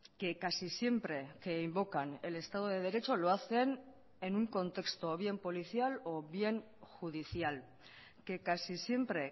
que casi siempre que invocan el estado de derecho lo hacen en un contexto bien policial o bien judicial que casi siempre